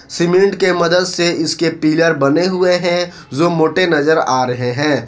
Cement के मदद से इसके पीलर बने हुए हैं जो मोटे नजर आ रहे हैं।